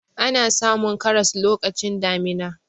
ana samun karas lokacin damina